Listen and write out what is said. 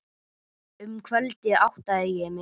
Um kvöldið áttaði ég mig.